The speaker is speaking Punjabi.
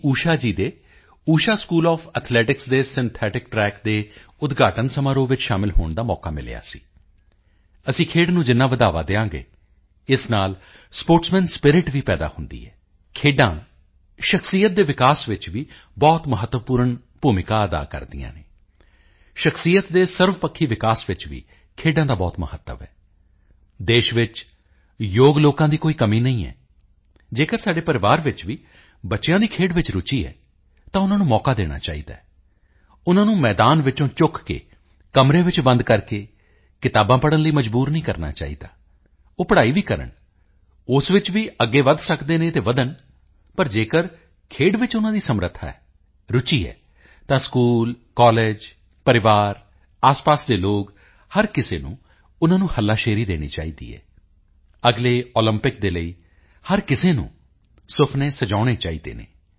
ਊਸ਼ਾ ਜੀ ਦੇ ਉਸ਼ਾ ਸਕੂਲ ਓਐਫ ਐਥਲੈਟਿਕਸ ਦੇ ਸਿੰਥੈਟਿਕ ਟ੍ਰੈਕ ਦੇ ਉਦਘਾਟਨ ਸਮਾਰੋਹ ਵਿੱਚ ਸ਼ਾਮਿਲ ਹੋਣ ਦਾ ਮੌਕਾ ਮਿਲਿਆ ਸੀ ਅਸੀਂ ਖੇਡ ਨੂੰ ਜਿੰਨਾ ਬੜ੍ਹਾਵਾ ਦੇਵਾਂਗੇ ਇਸ ਨਾਲ ਸਪੋਰਟਸ ਸਪੋਰਟਸਮੈਨ ਸਪਿਰਿਟ ਵੀ ਪੈਦਾ ਹੁੰਦੀ ਹੈ ਖੇਡਾਂ ਸ਼ਖਸੀਅਤ ਦੇ ਵਿਕਾਸ ਵਿੱਚ ਵੀ ਬਹੁਤ ਮਹੱਤਵਪੂਰਨ ਭੂਮਿਕਾ ਅਦਾ ਕਰਦੀਆਂ ਹਨ ਸ਼ਖਸੀਅਤ ਦੇ ਸਰਵਪੱਖੀ ਵਿਕਾਸ ਵਿੱਚ ਵੀ ਖੇਡਾਂ ਦਾ ਬਹੁਤ ਮਹੱਤਵ ਹੈ ਦੇਸ਼ ਵਿੱਚ ਯੋਗ ਲੋਕਾਂ ਦੀ ਕੋਈ ਕਮੀ ਨਹੀਂ ਹੈ ਜੇਕਰ ਸਾਡੇ ਪਰਿਵਾਰ ਵਿੱਚ ਵੀ ਬੱਚਿਆਂ ਦੀ ਖੇਡ ਵਿੱਚ ਰੁਚੀ ਹੈ ਤਾਂ ਉਨ੍ਹਾਂ ਨੂੰ ਮੌਕਾ ਦੇਣਾ ਚਾਹੀਦਾ ਹੈ ਉਨ੍ਹਾਂ ਨੂੰ ਮੈਦਾਨ ਵਿੱਚੋਂ ਚੁੱਕ ਕੇ ਕਮਰੇ ਵਿੱਚ ਬੰਦ ਕਰਕੇ ਕਿਤਾਬਾਂ ਪੜ੍ਹਨ ਲਈ ਮਜਬੂਰ ਨਹੀਂ ਕਰਨਾ ਚਾਹੀਦਾ ਉਹ ਪੜ੍ਹਾਈ ਵੀ ਕਰਨ ਉਸ ਵਿੱਚ ਵੀ ਅੱਗੇ ਵਧ ਸਕਦੇ ਹਨ ਤਾਂ ਵਧਣ ਪਰ ਜੇਕਰ ਖੇਡ ਵਿੱਚ ਉਨ੍ਹਾਂ ਦੀ ਸਮਰੱਥਾ ਹੈ ਰੁਚੀ ਹੈ ਤਾਂ ਸਕੂਲ ਕਾਲਜ ਪਰਿਵਾਰ ਆਸਪਾਸ ਦੇ ਲੋਕ ਹਰ ਕਿਸੇ ਨੂੰ ਉਨ੍ਹਾਂ ਨੂੰ ਹੱਲਾਸ਼ੇਰੀ ਦੇਣੀ ਚਾਹੀਦੀ ਹੈ ਅਗਲੇ ਓਲੰਪਿਕ ਦੇ ਲਈ ਹਰ ਕਿਸੇ ਨੂੰ ਸੁਪਨੇ ਸਜਾਉਣੇ ਚਾਹੀਦੇ ਹਨ